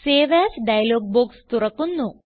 save as dialog box തുറക്കുന്നു